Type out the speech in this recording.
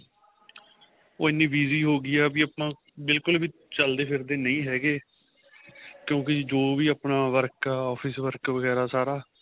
ਉਹ ਇੰਨੀ busy ਹੋ ਗਈ ਏ ਵੀ ਆਪਾਂ ਬਿਲਕੁਲ ਵੀ ਚੱਲਦੇ ਫਿਰਦੇ ਨਹੀਂ ਹੈਗੇ ਕਿਉਂਕਿ ਜੋ ਆਪਣਾ work ਆਂ office work ਵਗੇਰਾ ਸਾਰਾ